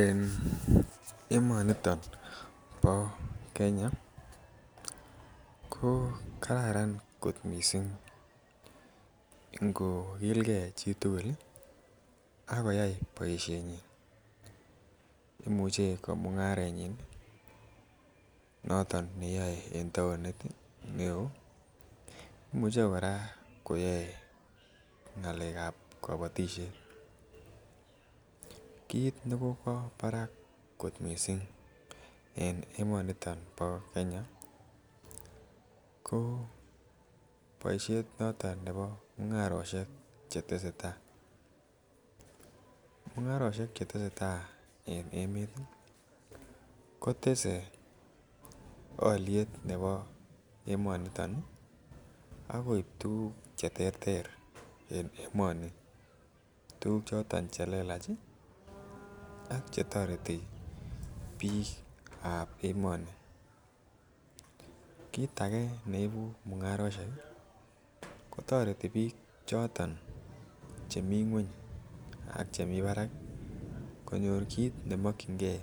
En emoniton bo Kenya ko kararan kot missing ngokilgee chitukul lii ak koyai boishenyin imuche komungarenyin noto neyoe en townit neo imuche Koraa koyoe ngalekab kobotishet. Kit nekokwo barak en emoniton nibo Kenya ko boishet noton nebo mungaroshek chetesetai, mungaroshek choto chetesetai en emetii kotse oliet nebo emoniton ak koib tukuk cheterter en emoni tukuk choton chelelach ak chetoreti bikab emoni. Kit age neibu mungaroshek kotoreti chito chemii ngweny ak chemii barak konyor tukuk chemokinigee